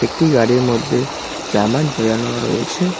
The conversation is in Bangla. একটি গাড়ির মধ্যে জামা ঝুলানো রয়েছে।